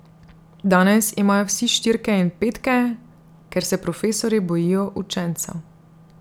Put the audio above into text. Danes imajo vsi štirke in petke, ker se profesorji bojijo učencev.